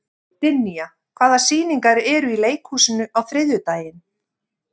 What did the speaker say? Dynja, hvaða sýningar eru í leikhúsinu á þriðjudaginn?